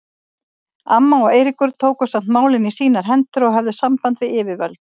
Amma og Eiríkur tóku samt málin í sínar hendur og höfðu samband við yfirvöld.